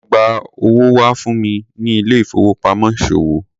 Lo gba owó wá fún mi ní ilé ìfowópamọ́ ìṣòwò.